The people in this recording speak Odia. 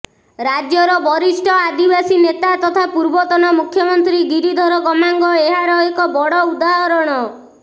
ରାଜ୍ୟର ବରିଷ୍ଠ ଆଦିବାସୀ ନେତା ତଥା ପୂର୍ବତନ ମୁଖ୍ୟମନ୍ତ୍ରୀ ଗିରିଧର ଗମାଙ୍ଗ ଏହାର ଏକ ବଡ଼ ଉଦାହରଣ